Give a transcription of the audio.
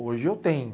Hoje eu tenho.